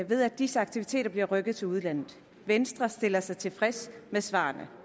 ved at disse aktiviteter bliver rykket til udlandet venstre stiller sig tilfreds med svarene